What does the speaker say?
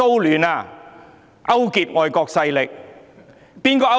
是誰勾結外國勢力？